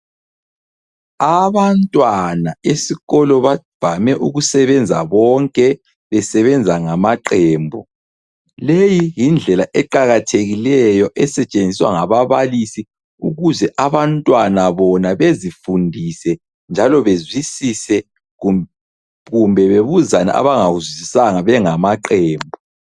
Abantwana esikolo bavame ukusebenza bonke besebenza ngamaqembu. Leyi yindlela eqakathekileyo esetshenziswa ngababalisi, ukuze abantwana bona bezifundise njalo bezwisise kumbe bebuzane abangakuzwisisanga bengamaqembu.